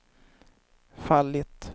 fallit